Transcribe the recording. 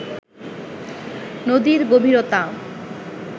নদীর গভীরতা